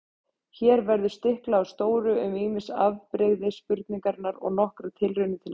Hér verður stiklað á stóru um ýmis afbrigði spurningarinnar og nokkrar tilraunir til svara.